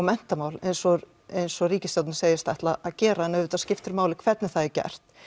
menntamál eins og eins og ríkisstjórnin segist ætla að gera en auðvitað skiptir máli hvernig það er gert